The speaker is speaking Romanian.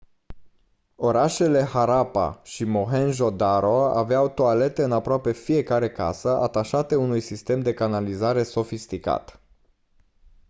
orașele harappa și mohenjo-daro aveau toalete în aproape fiecare casă atașate unui sistem de canalizare sofisticat